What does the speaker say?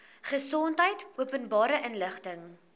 gesondheid openbare inligting